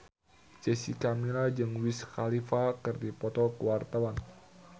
Jessica Milla jeung Wiz Khalifa keur dipoto ku wartawan